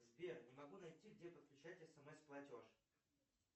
сбер не могу найти где подключать смс платеж